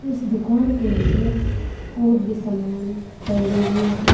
इस दुकान के अंदर और भी सामान टंगे हुए हैं।